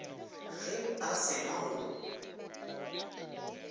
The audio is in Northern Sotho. ge a se na go